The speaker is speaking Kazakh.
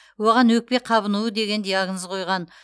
оған өкпе қабынуы деген диагноз қойған